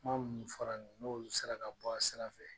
Kuma minnu fɔra nin ye n'olu sera ka bɔ a sira fɛ